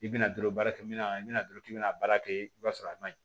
I bɛna dolo baara kɛ bɛna i bɛna dɔrɔn k'i bɛna baara kɛ i b'a sɔrɔ a man ɲi